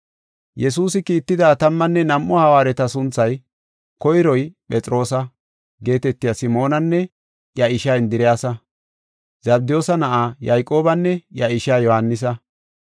Yesuusi kiitida tammanne nam7u hawaareta sunthay: koyroy Phexroosa geetetiya Simoonanne iya ishaa Indiriyasa, Zabdiyoosa na7aa Yayqoobanne iya ishaa Yohaanisa,